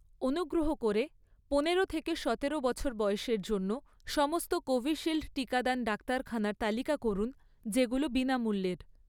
অনুগ্রহ করে পনেরো থেকে সতেরো বছর বয়সের জন্য, সমস্ত কোভিশিল্ড টিকাদান ডাক্তারখানার তালিকা করুন যেগুলো বিনামূল্যের